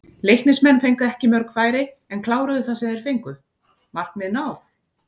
Leiknismenn fengu ekki mörg færi en kláruðu það sem þeir fengu, markmið náð?